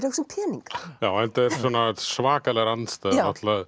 hugsa um peninga enda eru svakalegar andstæður